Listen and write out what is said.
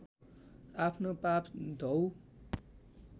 आफ्नो पाप धौऊ